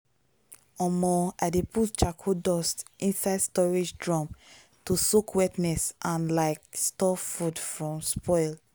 omo i dey put charcoal dust inside storage drum to soak wetness and like stop food from spoil.